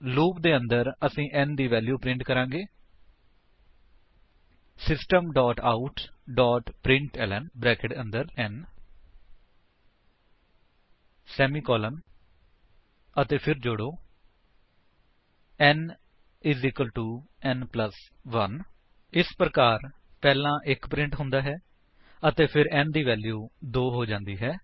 loop ਦੇ ਅੰਦਰ ਅਸੀ n ਦੀ ਵੈਲਿਊ ਪ੍ਰਿੰਟ ਕਰਾਂਗੇ ਸਿਸਟਮ ਆਉਟ ਪ੍ਰਿੰਟਲਨ 160 ਅਤੇ ਫਿਰ ਜੋੜੋ n n 1160 ਇਸ ਪ੍ਰਕਾਰ ਪਹਿਲਾਂ 1 ਪ੍ਰਿੰਟ ਹੁੰਦਾ ਹੈ ਅਤੇ ਫਿਰ n ਦੀ ਵੈਲਿਊ 2 ਹੋ ਜਾਂਦੀ ਹੈ